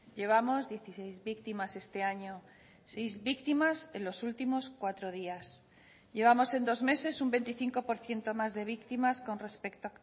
llevamos dieciséis víctimas este año seis víctimas en los últimos cuatro días llevamos en dos meses un veinticinco por ciento más de víctimas con respecto